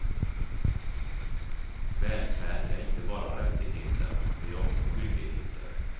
Välfärd är inte bara rättigheter det är också skyldigheter.